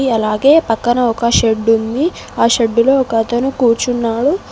అలాగే పక్కన ఒక షెడ్డుంది ఆ షెడ్డులో ఒక అతను కూర్చున్నాడు.